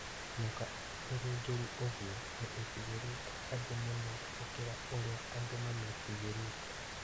Nyoka ona ĩrĩ njũru ũgũo , nĩ ĩtigĩrĩte andũ mũno ona gũkĩra ũrĩa andũ mamĩĩtigĩrĩte.